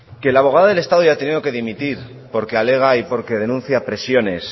que la abogada del estado haya que dimitir porque alega y porque denuncia presiones